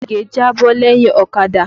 Ìgè jábọ́ lẹ́yìn ọ̀kadà.